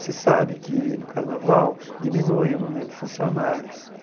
Você sabe que no carnaval diminui o número de funcionários.